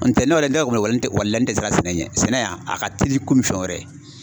N tɛ n'o yɛrɛ walila n tɛ siran sɛnɛ ɲɛ sɛnɛ wa a ka teli i komi fɛn wɛrɛ.